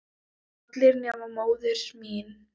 allir nema móðir mín